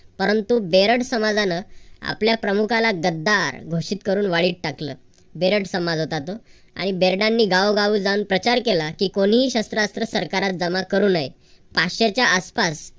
परंतु बेरड समाजान आपल्या प्रमुखाला गद्दार घोषित करून वाळीत टाकलं. बेरड समाज होता तो. आणि बेरडांनी गावोगावी जावून प्रचार केला की कोणीही शस्त्रास्त्र सरकारास जमा करू नये. पाचशेच्या आसपास